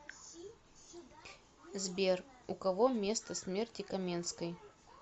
сбер у кого место смерти каменской